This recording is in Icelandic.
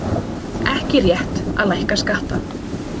Ekki rétt að lækka skatta